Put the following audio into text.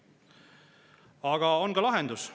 Aga on ka lahendus.